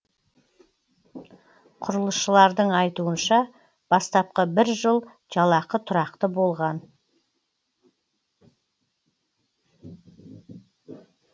құрылысшылардың айтуынша бастапқы бір жыл жалақы тұрақты болған